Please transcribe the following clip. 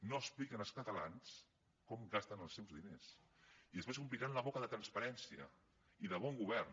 no expliquen als catalans com gasten els seus diners i després s’ompliran la boca de transparència i de bon govern